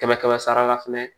Kɛmɛ kɛmɛ sara la fɛnɛ